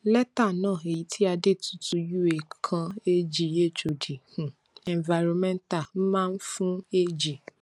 lẹ́tà náà èyí tí adetutu ua kan ag hod um environmental máa ń fún ag